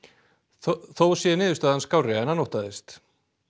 þó sé niðurstaðan skárri en hann óttaðist